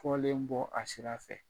Fɔlen bɔ a sira fɛ.